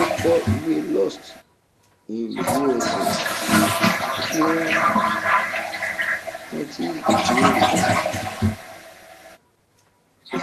ó kọ ìwé lost in usa tí ó ń rántí ìbẹrẹ rẹ